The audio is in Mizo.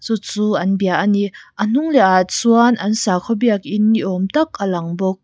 chu an bia a ni a hnung leh ah chuan an sakhaw biakin ni awm tak a lang bawk.